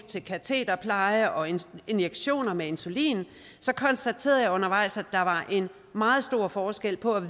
til katederpleje og injektioner med insulin konstaterede jeg undervejs at der var en meget stor forskel på at